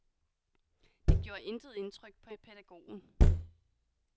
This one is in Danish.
Det gjorde intet indtryk på pædagogen.